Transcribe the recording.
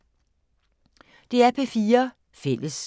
DR P4 Fælles